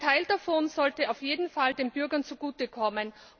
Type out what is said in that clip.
Ein Teil davon sollte auf jeden Fall den Bürgern zugutekommen.